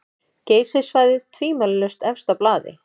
Geysissvæðið tvímælalaust efst á blaði.